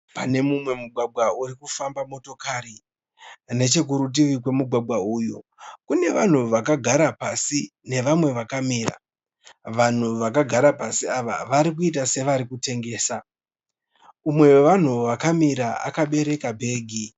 Pane mumwe mugwagwa uri kufamba motokari. Nechekurutivi kwemugwagwa uyu kune vanhu vakagara pasi nevamwe vakamira. Vanhu vakagara pasi ava vari kuita sevari kutengesa. Umwe wevanhu vakamira akabereka bhegi.